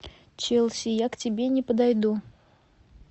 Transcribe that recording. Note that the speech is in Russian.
челси я к тебе не подойду